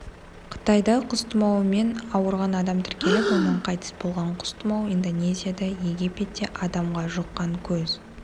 қытайда құс тұмауымен ауырған адам тіркеліп оның қайтыс болған құс тұмауы индонезияда египетте адамға жұққан көз